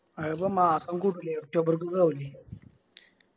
ആ അപ്പൊ മാസം കൂടൂലെ October ക്ക് ഒക്കെ ആവൂലെ